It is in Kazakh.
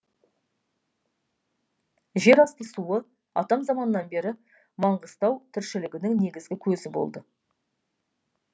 жер асты суы атам заманнан бері маңқыстау тіршілігінің негізгі көзі болды